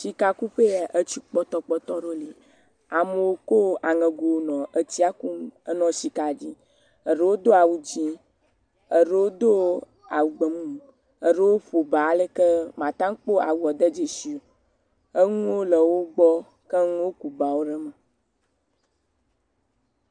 Sikakuƒee ya, etsi kpɔtɔkpɔtɔ ɖewo li, amewo ko aŋegowo nɔ etsia kum nɔ sika dim, eɖewo do awu dzɛ̃, eɖewo do awu gbemumu, eɖewo ƒo ba aleke màta kpɔ awuwo de dzesi o, enuwo le wo gbɔ keŋ, woku bawo ɖe me.